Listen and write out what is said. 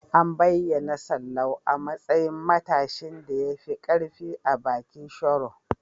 An bayyana Sallau a matsayin matashin da ya fi ƙarfi a bikin Sharo.